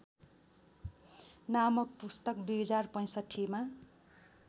नामक पुस्तक २०६५मा